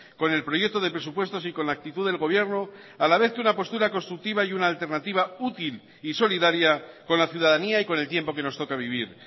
con el proyecto de presupuestos y con la actitud del gobierno a la vez que una postura constructiva y una alternativa útil y solidaria con la ciudadanía y con el tiempo que nos toca vivir